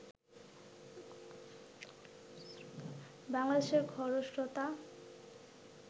বাংলাদেশের খরস্রোতা